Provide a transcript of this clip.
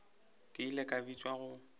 ke ile ka bitšwa go